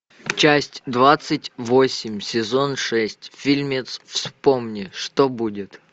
часть двадцать восемь сезон шесть фильмец вспомни что будет